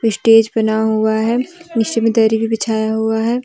Stage बना हुआ है पीछे मे दरी भी बिछाया हुआ है।